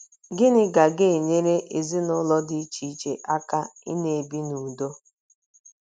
Gịnị ga ga - enyere ezinụlọ dị iche iche aka ịna - ebi n’udo?